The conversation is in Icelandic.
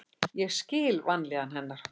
Ég skil vanlíðan hennar.